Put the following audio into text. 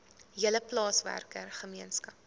hele plaaswerker gemeenskap